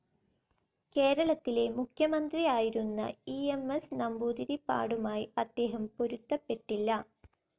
കേരളത്തിലെ മുഖ്യമന്ത്രിയായിരുന്ന E. M. S നമ്പൂതിരിപ്പാടുമായി അദ്ദേഹം പൊരുത്തപ്പെട്ടില്ല.